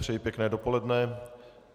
Přeji pěkné dopoledne.